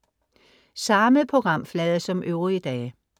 Samme programflade som øvrige dage